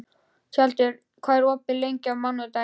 Tjaldur, hvað er opið lengi á mánudaginn?